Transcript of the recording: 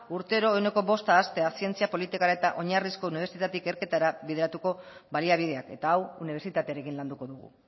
urtero ehuneko bosta haztea zientzia politika eta oinarrizko unibertsitate ikerketara bideratuko baliabideak eta hau unibertsitatearekin landuko dugu